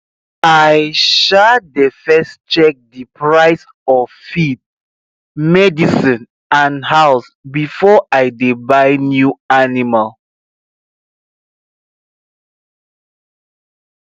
i um dey first check the price of feed medicine and house before i dey buy new animal